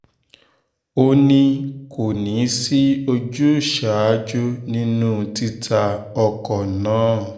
ó ní kò ní í sí ojúzàájú nínú títa ọkọ̀ náà